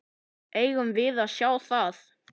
Eigum við að sjá það?